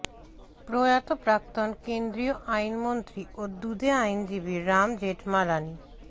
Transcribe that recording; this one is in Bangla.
প্রয়াত প্রাক্তন কেন্দ্রীয় আইনমন্ত্রী ও দুঁদে আইনজীবী রাম জেঠমালানি